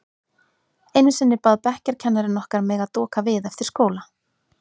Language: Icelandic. Einu sinni bað bekkjarkennarinn okkar mig að doka við eftir skóla.